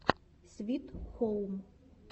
свит хоум